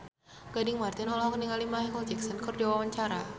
Gading Marten olohok ningali Micheal Jackson keur diwawancara